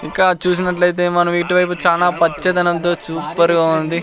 ఇంకా చూసినట్లయితే మనం ఇటు వైపు చానా పచ్చదనంతో సూపర్ గా ఉంది.